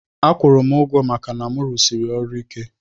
Akwurum ugwo maka na mu rụsiri ọrụ ike.